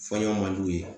Fɔ ɲɔgɔn man di u ye